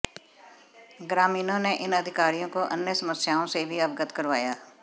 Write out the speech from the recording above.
ग्रामीणों ने इन अधिकारियों को अन्य समस्याओं से भी अवगत करवाया